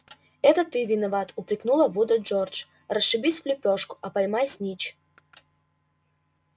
это ты виноват упрекнула вуда джордж расшибись в лепёшку а поймай снитч